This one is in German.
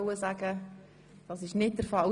– Das ist definitiv nicht der Fall.